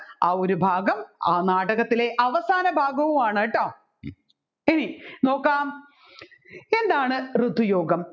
ആ ഒരു ഭാഗം ആ നാടകത്തിലെ അവസാന ഭാഗവുമാണ് കേട്ടോ ഇനി നോകാം എന്ത് ഋതുയോഗം